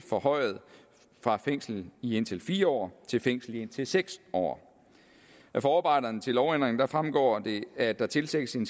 forhøjet fra fængsel i indtil fire år til fængsel i indtil seks år af forarbejderne til lovændringen fremgår det at der tilsigtes en